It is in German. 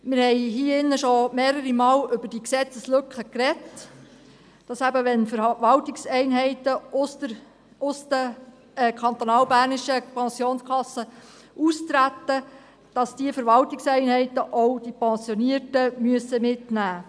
Wir haben im Rat bereits mehrfach über diese Gesetzeslücke gesprochen, dass eben, wenn Verwaltungseinheiten aus den kantonalbernischen Pensionskassen austreten, auch die Pensionierten mitgenommen werden müssen.